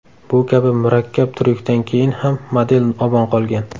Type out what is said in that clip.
Bu kabi murakkab tryukdan keyin ham model omon qolgan.